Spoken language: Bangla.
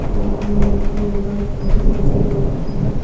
ছবিতে আমি একটি যোগা সেন্টার দেখতে পাচ্ছি।